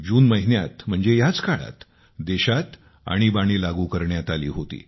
जून महिन्यात म्हणजे याच काळात देशात आणीबाणी लागू करण्यात आली होती